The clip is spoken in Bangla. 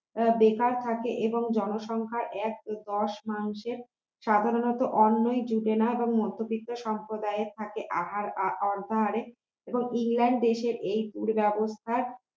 তারা বেকার খাটে এবং জনসংখ্যা এক দশ মানুষের সাধারণত অন্যই জোটে না এবং মধ্যবিত্ত সম্প্রদায় থাকে আহার অর্ধাহারে এবং ইংল্যান্ড দেশের এই দুরব্যবস্থা